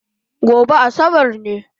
Gobe Asabar ne